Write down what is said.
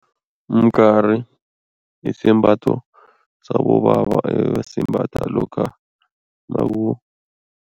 Umgari yisembatho sabobaba ebasimbatha lokha